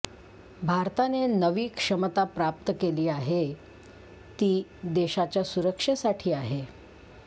भारताने नवी क्षमता प्राप्त केली आहे ती देशाच्या सुरक्षेसाठी आहे